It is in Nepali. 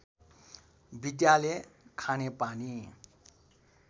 विद्यालय खानेपानी